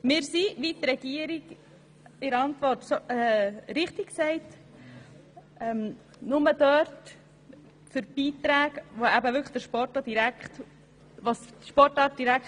Wir sind – wie die Regierung in ihrer Antwort richtig sagt – nur dort für Beiträge, wo diese direkt für die Sportart benötigt werden.